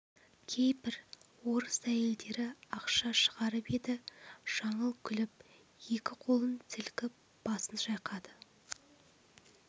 кейбір орыс әйелдері ақша шығарып еді жаңыл күліп екі қолын сілкіп басын шайқады